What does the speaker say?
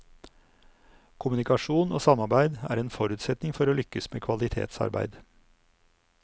Kommunikasjon og samarbeid er en forutsetning for å lykkes med kvalitetsarbeid.